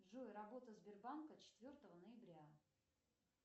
джой работа сбербанка четвертого ноября